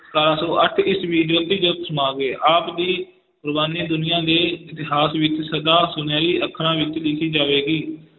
ਸਤਾਰਾਂ ਸੌ ਅੱਠ ਈਸਵੀ ਜੋਤੀ ਜੋਤ ਸਮਾ ਗਏ, ਆਪ ਦੀ ਕੁਰਬਾਨੀ ਦੁਨੀਆਂ ਦੇ ਇਤਿਹਾਸ ਵਿੱਚ ਸਦਾ ਸੁਨਿਹਰੀ ਅੱਖਰਾਂ ਵਿੱਚ ਲਿਖੀ ਜਾਵੇਗੀ।